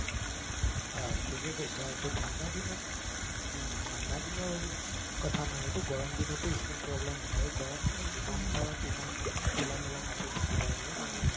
হয় ঠিকে কৈছা এইটো ঠাণ্ডা দিনত কঙ ঠাণ্ডা দিনৰ কথা নহয় এইটো গৰম দিনতো ই skin problem হয় গৰম দিনত যিমান পাৰা তিমান মানে খোলা মেলা কাপোৰ পিন্ধিব লাগে যেনে ঢিলা